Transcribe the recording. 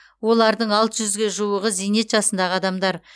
олардың алты жүзге жуығы зейнет жасындағы адамдар